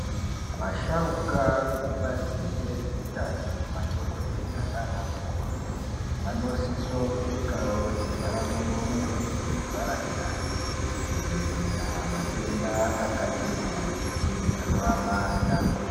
Vasharuka vekubazi rezveutano madhokodhera naanamukoti vanosisa kupfekawo zvivhara muromo nezvivhara nyara kudzivirira matenda akati kuti anovabata.